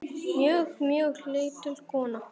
Mjög, mjög lítil kona.